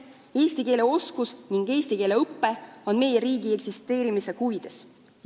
Eesti keele oskus ning eesti keele õpe on seega meie riigi eksisteerimise huvides.